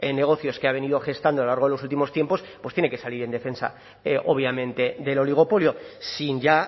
negocios que ha venido gestando a lo largo de los últimos tiempos pues tiene que salir en defensa obviamente del oligopolio sin ya